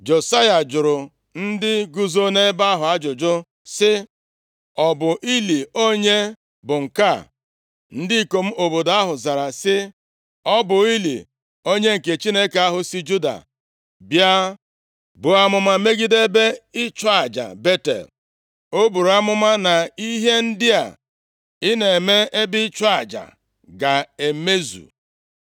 Josaya jụrụ ndị guzo nʼebe ahụ ajụjụ sị, “Ọ bụ ili onye bụ nke a?” Ndị ikom obodo ahụ zara sị, “Ọ bụ ili onye nke Chineke ahụ si Juda bịa buo amụma megide ebe ịchụ aja Betel. O buru amụma na ihe ndị a ị na-eme ebe ịchụ aja a ga-emezu.”